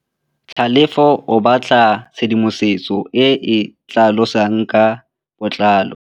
Tlhalefô o batla tshedimosetsô e e tlhalosang ka botlalô.